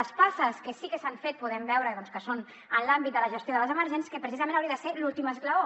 les passes que sí que s’han fet podem veure doncs que són en l’àmbit de la gestió de les emergències que precisament hauria de ser l’últim esglaó